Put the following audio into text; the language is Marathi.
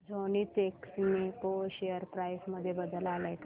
झेनिथएक्सपो शेअर प्राइस मध्ये बदल आलाय का